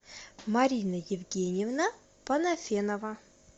марина евгеньевна панафенова